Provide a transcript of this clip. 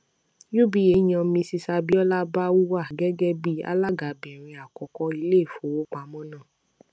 uba yan mrs abiola bawuah gẹgẹ bí alágabìnrin àkọkọ iléìfowópamọ náà